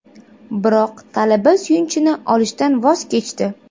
Biroq talaba suyunchini olishdan voz kechdi.